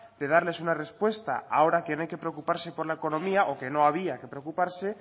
de darles una respuesta ahora que no hay que preocuparse por la economía o que no había que preocuparse